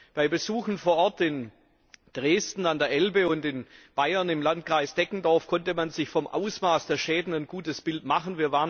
Bei Besuchen vor Ort in Dresden an der Elbe und in Bayern im Landkreis Deggendorf konnte man sich vom Ausmaß der Schäden ein gutes Bild machen.